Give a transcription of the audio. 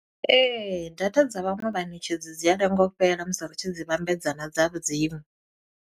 Ee, data dza vhaṅwe vhaṋetshedzi dzi a lengo u fhela musi ri tshi dzi vhambedza na dza vhu dziṅwe.